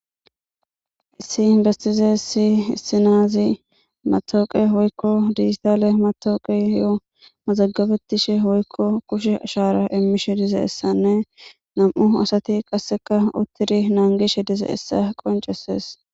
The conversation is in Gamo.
Heissin bestize issi issinaazi matooqe woykko dijitale matooqe yo mazagabetishe woykko kushe ashara immishe dize essanne nam7u asati qasseka uttiri naangishe dizeessa qoncesees